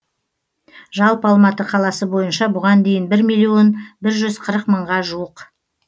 жалпы алматы қаласы бойынша бұған дейін бір миллион бір жүз қырық мыңға жуық